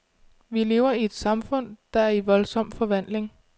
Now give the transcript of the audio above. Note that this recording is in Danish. Vi lever i et samfund, der er i voldsom forvandling.